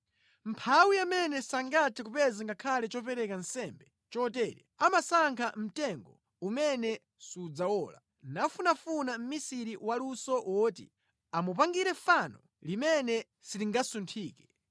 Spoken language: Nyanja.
Mʼmphawi amene sangathe kupeza ngakhale chopereka nsembe chotere amasankha mtengo umene sudzawola, nafunafuna mʼmisiri waluso woti amupangire fano limene silingasunthike.